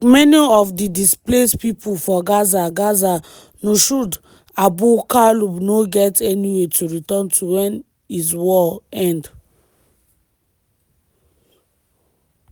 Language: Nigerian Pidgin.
like many of di displaced pipo for gaza gaza njoud abu kaloub no get anywia to return to wen is war end.